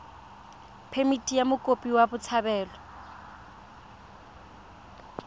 phemithi ya mokopi wa botshabelo